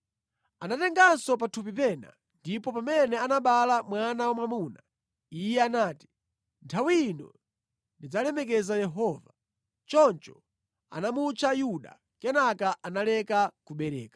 Anatenganso pathupi pena, ndipo pamene anabereka mwana wamwamuna, iye anati, “Nthawi ino ndidzalemekeza Yehova.” Choncho anamutcha Yuda. Kenaka analeka kubereka.